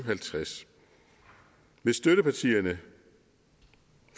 og halvtreds hvis støttepartierne